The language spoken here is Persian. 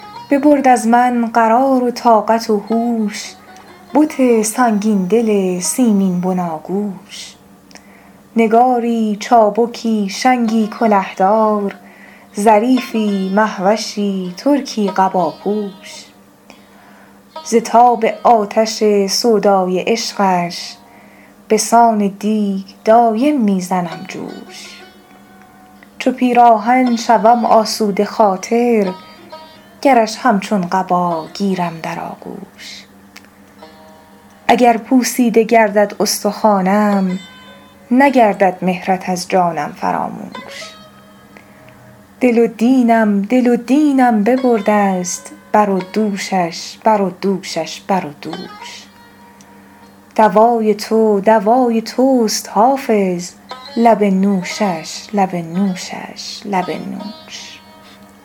ببرد از من قرار و طاقت و هوش بت سنگین دل سیمین بناگوش نگاری چابکی شنگی کله دار ظریفی مه وشی ترکی قباپوش ز تاب آتش سودای عشقش به سان دیگ دایم می زنم جوش چو پیراهن شوم آسوده خاطر گرش همچون قبا گیرم در آغوش اگر پوسیده گردد استخوانم نگردد مهرت از جانم فراموش دل و دینم دل و دینم ببرده ست بر و دوشش بر و دوشش بر و دوش دوای تو دوای توست حافظ لب نوشش لب نوشش لب نوش